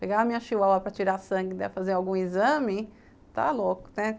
Pegar a minha chihuahua para tirar sangue, fazer algum exame, está louco, né?